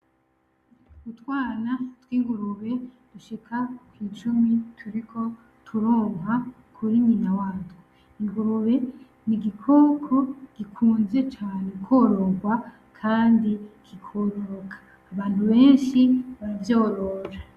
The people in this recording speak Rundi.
Utwana tw'ingurube dushika kw'icumi turiko turonka kuri nyina watwo , ingurube ni igikoko gikunzwe cane kwororwa kandi kikoroka , abantu benshi baravyorora.